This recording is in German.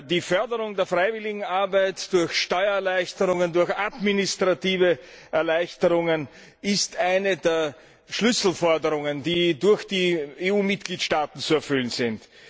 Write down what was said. Die Förderung der Freiwilligenarbeit durch Steuererleichterungen, durch administrative Erleichterungen ist eine der Schlüsselforderungen, die durch die EU Mitgliedstaaten zu erfüllen sind.